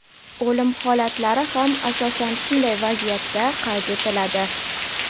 O‘lim holatlari ham asosan shunday vaziyatda qayd etiladi.